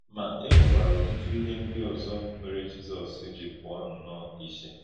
Ma, e nwekwara ọ̀tụ̀tụ̀ íhè ndị òzò mèrè Jízọs jì pụ̀ọ̀ nnọọ ìchè.